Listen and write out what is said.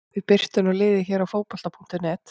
Við birtum nú liðið hér á Fótbolta.net.